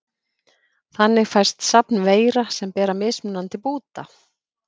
Þannig fæst safn veira sem bera mismunandi búta.